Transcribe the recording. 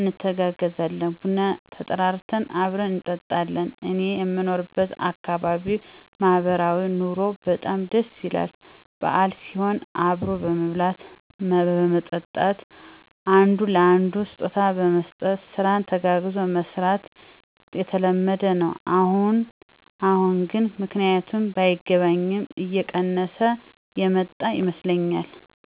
እንተጋገዛለን። ቡና ተጠራርተን አብረን እንጠጣለን። እኔየምኖርበት አካባቢ ማህበራዊ ኑሮዉ በጣም ደስ ይላል። በአል ሲሆን አብሮ መብላት መጠጣት፣ አንዱ ለአንዱ ስጦታ መስጠት፣ ስራን ተጋግዞ መስራት የተለመደ ነዉ። አሁን አሁን ግን ምክንያቱ ባይገባኝም እየቀነሰ የመጣ ይመስለኛል።